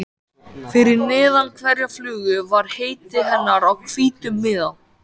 Fyrir neðan hverja flugu var heiti hennar á hvítum miða.